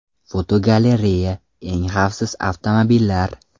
Fotogalereya: Eng xavfsiz avtomobillar.